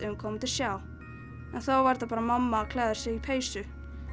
hún myndi sjá en þá var þetta bara mamma að klæða sig í peysu